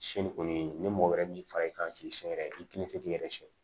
Sɛnni kɔni ni mɔgɔ wɛrɛ min fara i kan k'i siɲɛ yɛrɛ i tina se k'i yɛrɛ sɛgɛn